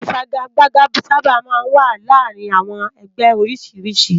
Ifàgágbàgá sàbá má n wá làárin áwòn ègbè ôrìsírìsí